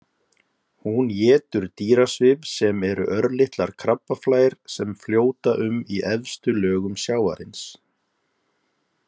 Hún étur dýrasvif sem eru örlitlar krabbaflær sem fljóta um í efstu lögum sjávarins.